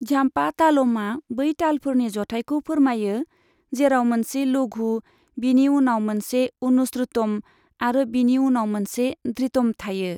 Zampa तालमआ बै तालफोरनि जथायखौ फोरमायो, जेराव मोनसे लघु, बिनि उनाव मोनसे अनुश्रुतम आरो बिनि उनाव मोनसे धृतम थायो।